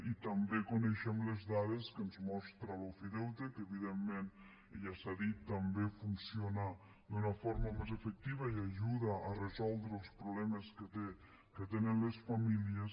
i també coneixem les dades que ens mostra l’ofideute que evidentment i ja s’ha dit també funciona d’una forma més efectiva i ajuda a resoldre els problemes que tenen les famílies